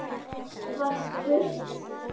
var spurt.